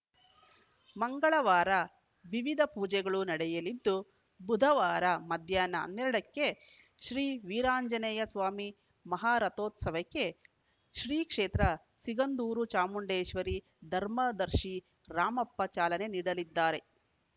ಮಂಗಳವಾರ ವಿವಿಧ ಪೂಜೆಗಳು ನಡೆಯಲಿದ್ದು ಬುಧವಾರ ಮಧ್ಯಾಹ್ನ ಹನ್ನೆರಡ ಕ್ಕೆ ಶ್ರೀ ವೀರಾಂಜನೇಯ ಸ್ವಾಮಿ ಮಹಾರಥೋತ್ಸವಕ್ಕೆ ಶ್ರೀ ಕ್ಷೇತ್ರ ಸಿಗಂದೂರು ಚಾಮುಂಡೇಶ್ವರಿ ಧರ್ಮದರ್ಶಿ ರಾಮಪ್ಪ ಚಾಲನೆ ನೀಡಲಿದ್ದಾರೆ